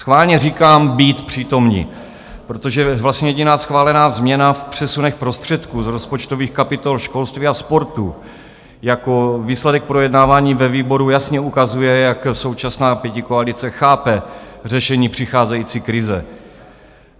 Schválně říkám být přítomni, protože vlastně jediná schválená změna v přesunech prostředků z rozpočtových kapitol školství a sportu jako výsledek projednávání ve výboru jasně ukazuje, jak současná pětikoalice chápe řešení přicházející krize.